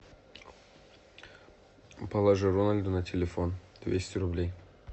положи рональду на телефон двести рублей